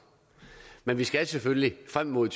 men det skal selvfølgelig frem mod